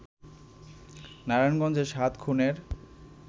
নারায়ণগঞ্জে সাত খুনের